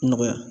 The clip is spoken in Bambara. Nɔgɔya